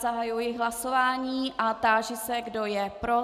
Zahajuji hlasování a táži se, kdo je pro.